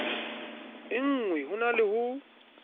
engwe ho na le ho